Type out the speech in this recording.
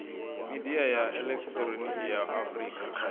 midia ya elekihironiki ya afurika